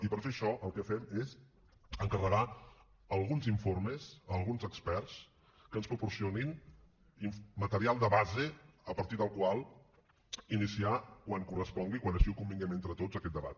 i per fer això el que fem és encarregar alguns informes a alguns experts que ens proporcionin material de base a partir del qual iniciar quan correspongui quan així ho convinguem entre tots aquest debat